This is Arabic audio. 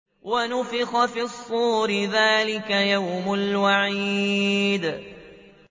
وَنُفِخَ فِي الصُّورِ ۚ ذَٰلِكَ يَوْمُ الْوَعِيدِ